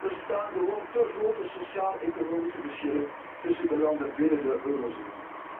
Er bestaan gewoon te grote sociaal economische verschillen tussen de landen binnen de eurozone.